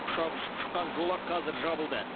ұшақ ұшып шыққан жолақ қазір жабылды